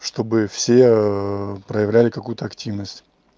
чтобы все проявляли какую-то активность